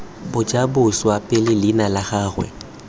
bajaboswa pele leina la gagwe